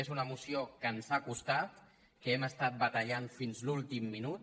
és una moció que ens ha costat que hem estat batallant fins a l’últim minut